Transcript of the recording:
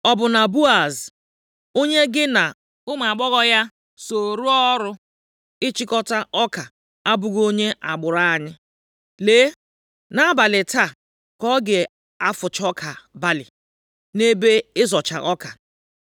Ọ bụ na Boaz, onye gị na ụmụ agbọghọ ya so rụọ ọrụ ịchịkọta ọka abụghị onye agbụrụ anyị? Lee, nʼabalị taa ka ọ ga-afụcha ọka balị nʼebe ịzọcha ọka.